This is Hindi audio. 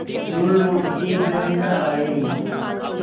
जो लौट के घर न आये